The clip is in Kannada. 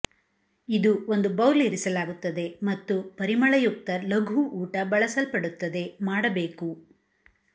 ಇದು ಒಂದು ಬೌಲ್ ಇರಿಸಲಾಗುತ್ತದೆ ಮತ್ತು ಪರಿಮಳಯುಕ್ತ ಲಘು ಊಟ ಬಳಸಲ್ಪಡುತ್ತದೆ ಮಾಡಬೇಕು